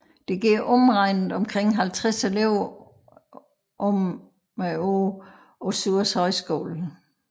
Der går omregnet omkring 50 elever om året på Suhrs Højskole